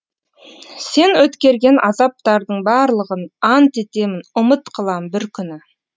сен өткерген азаптардың барлығын ант етемін ұмыт қылам бір күні